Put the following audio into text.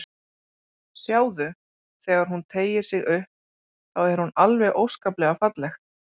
Sjáðu, þegar hún teygir sig upp, þá er hún alveg óskaplega falleg.